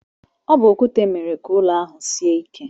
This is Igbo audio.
Ọ bu okwute mere ka ụlọ ahụ sie ike.